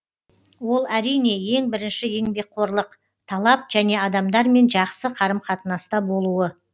ол әрине ең бірінші еңбекқорлық талап және адамдармен жақсы қарым қатынаста болуы